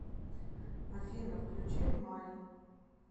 афина включи мани